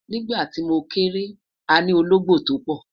nígbà ti mo kere, àní ológbò to pò